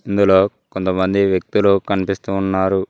ఇందులో కొంతమంది వ్యక్తులు కనిపిస్తూ ఉన్నారు.